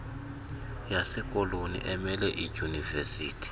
yasekoloni emele iidyunivesithi